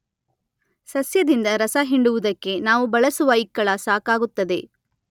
ಸಸ್ಯದಿಂದ ರಸ ಹಿಂಡುವುದಕ್ಕೆ ನಾವು ಬಳಸುವ ಇಕ್ಕಳ ಸಾಕಾಗುತ್ತದೆ.